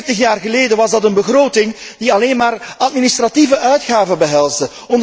Veertig jaar geleden was het een begroting die alleen maar administratieve uitgaven behelsde.